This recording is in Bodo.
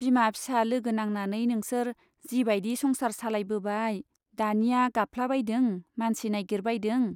बिमा फिसा लोगो नांनानै नोंसोर जि बाइदि संसार सालायबोबाय , दानिया गाबफ्लाबायदों , मानसि नाइगिरबायदों ?